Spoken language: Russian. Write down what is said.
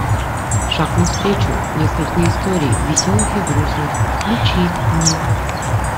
шаг навстречу несколько историй веселых и грустных включи мне